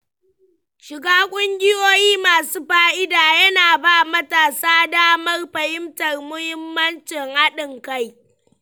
Shiga kungiyoyi masu fa'ida yana ba matasa damar fahimtar mahimmancin haɗin kai.